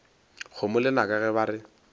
kgomo lenaka ge ba re